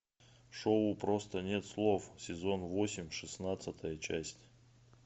шоу просто нет слов сезон восемь шестнадцатая часть